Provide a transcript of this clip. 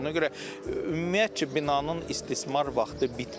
Ona görə ümumiyyətcə binanın istismar vaxtı bitmir.